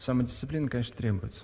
самодисциплина конечно требуется